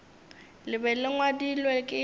le be le ngwadilwe ke